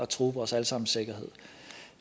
true vores alle sammens sikkerhed